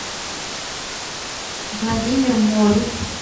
владимир морев